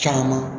Caman